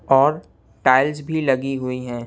और टाइल्स भी लगी हुई हैं।